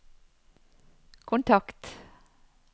kontakt